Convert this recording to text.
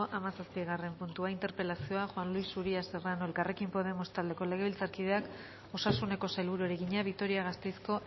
hamazazpigarren puntua interpelazioa juan luis uria serrano elkarrekin podemos taldeko legebiltzarkideak osasuneko sailburuari egina vitoria gasteizko